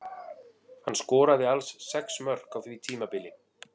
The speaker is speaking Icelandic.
Hann skoraði alls sex mörk á því tímabili.